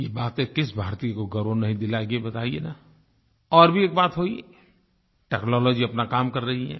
ये बातें किस भारतीय को गौरव नहीं दिलाएँगी ये बताइये न और भी एक बात हुई टेक्नोलॉजी अपना काम कर रही है